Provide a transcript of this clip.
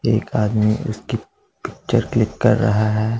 एक आदमी उसकी पिक्चर क्लिक कर रहा है।